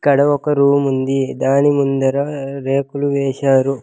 ఇక్కడ ఒక రూమ్ ఉంది దాని ముందర రేకులు వేశారు.